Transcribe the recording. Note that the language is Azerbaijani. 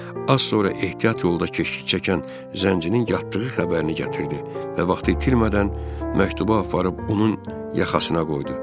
Az sonra ehtiyat yolda keşlik çəkən zəncinin yatdığı xəbərini gətirdi və vaxtı itirmədən məktubu aparıb onun yaxasına qoydu.